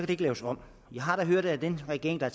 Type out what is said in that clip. det ikke laves om vi har da hørt at i den regering der